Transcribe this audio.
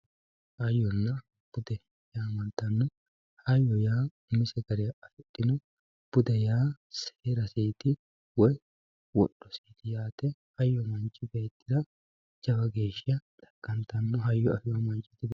hayyonna bude yaamantanno hayyo yaa umise gara afidhino bude yaa seeraseeti woyi wodhoseeti hoyya manchi beettira jawa geeshsha xaqqantanno hayyo afino manchi ..